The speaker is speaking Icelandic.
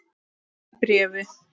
Í bréfi